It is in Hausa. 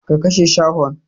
Ka kashe shahon!